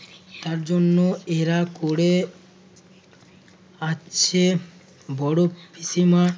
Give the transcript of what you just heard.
তার জন্য এরা করে আসেছ। বড় পিসিমা